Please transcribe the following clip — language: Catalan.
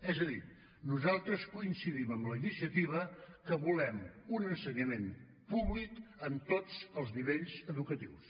és a dir nosaltres coincidim amb la iniciativa que volem un ensenyament públic en tots els nivells educatius